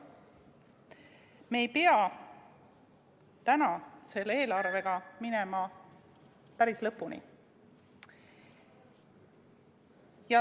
Me ei pea täna selle eelarvega päris lõpuni minema.